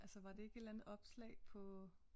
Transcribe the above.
Altså var det ikke et eller andet opslag på